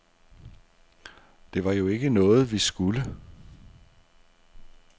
Det var jo ikke noget, vi skulle.